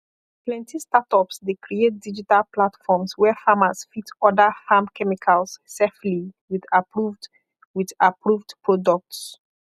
plenty startups dey create digital platforms where farmers fit order farm chemicals safely with approved with approved products